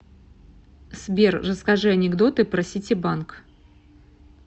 сбер расскажи анекдоты про ситибанк